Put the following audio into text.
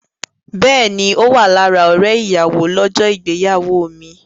Bẹ́ẹ̀ni, Ó wà lára ọ̀rẹ́ ìyàwó lọ́jọ́ ìgbéyàwó mi.